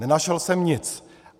Nenašel jsem nic.